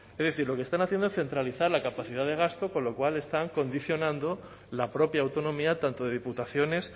es decir lo que están haciendo es centralizar la capacidad de gasto con lo cual están condicionando la propia autonomía tanto de diputaciones